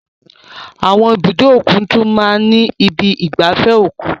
Àwọn ibùdó òkun tún máa ń ní ibi ìgbafẹ́ òkun.